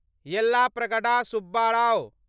Yellapragada Subbarao